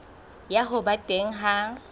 ya ho ba teng ha